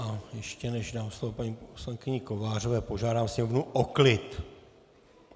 A ještě než dám slovo paní poslankyni Kovářové, požádám sněmovnu o klid!